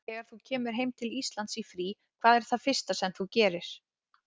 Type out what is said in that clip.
Þegar þú kemur heim til Íslands í frí, hvað er það fyrsta sem þú gerir?